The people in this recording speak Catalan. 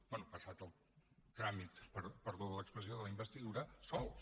bé passat el tràmit perdó per l’expressió de la investidura sols